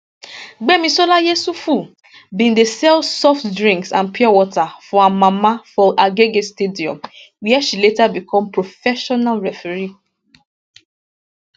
gbemisola yusuf bin dey sell soft drinks and pure water for her mama for agege stadium wia she later become professional referee